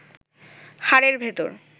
হাড়ের ভেতর